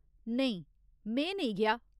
नेईं, में नेईं गेआ।